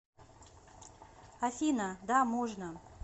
афина да можно